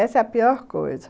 Essa é a pior coisa.